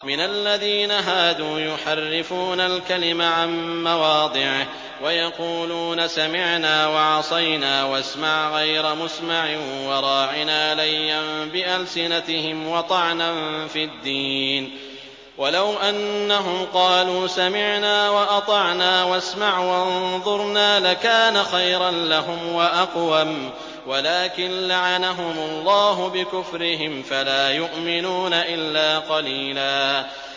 مِّنَ الَّذِينَ هَادُوا يُحَرِّفُونَ الْكَلِمَ عَن مَّوَاضِعِهِ وَيَقُولُونَ سَمِعْنَا وَعَصَيْنَا وَاسْمَعْ غَيْرَ مُسْمَعٍ وَرَاعِنَا لَيًّا بِأَلْسِنَتِهِمْ وَطَعْنًا فِي الدِّينِ ۚ وَلَوْ أَنَّهُمْ قَالُوا سَمِعْنَا وَأَطَعْنَا وَاسْمَعْ وَانظُرْنَا لَكَانَ خَيْرًا لَّهُمْ وَأَقْوَمَ وَلَٰكِن لَّعَنَهُمُ اللَّهُ بِكُفْرِهِمْ فَلَا يُؤْمِنُونَ إِلَّا قَلِيلًا